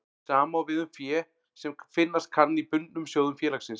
Sama á við um fé sem finnast kann í bundnum sjóðum félagsins.